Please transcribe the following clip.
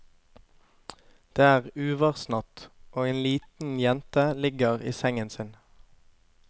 Det er uværsnatt, og en liten jente ligger i sengen sin.